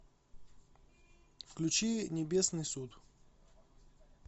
включи небесный суд